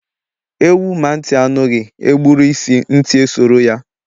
Ewuh ma ntị anughi, e gburu isi, ntị esoro ya